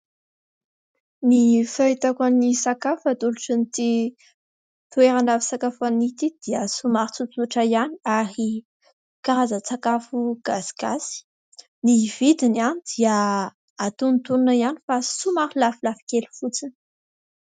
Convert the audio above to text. Ny fahitako an'ny sakafo atolotr'ity toerana fisakafoanana ity dia somary tsotsotra ihany ary karazan-tsakafo gasigasy. Ny vidiny dia antonontonony ihany fa somary lafolafo kely fotsiny.